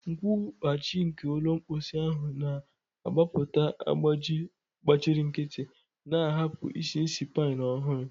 Nkwughachi nke ụlọ mposi ahụ na-agbapụta agbaji gbachiri nkịtị, na-ahapụ isi ísì pine ọhụrụ.